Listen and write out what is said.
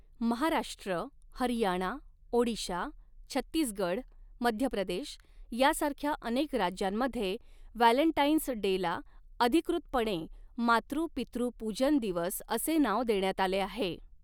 महाराष्ट्र, हरियाणा, ओडिशा, छत्तीसगड, मध्य प्रदेश यासारख्या अनेक राज्यांमध्ये व्हॅलेंटाईन्स डेला अधिकृतपणे मातृ पितृ पूजन दिवस असे नाव देण्यात आले आहे.